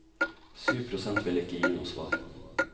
Syv prosent ville ikke gi noe svar.